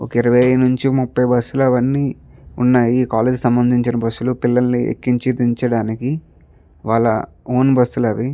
ఒక ఇర్వినుంచి ముపై బుస్సు లు అవన్నీ ఉన్నాయి కాలేజీ కి సమందించిన బస్సు లు పిల్లల్ని ఎక్కించి దించడానికి వాల ఓన్ బస్సు లు అవి --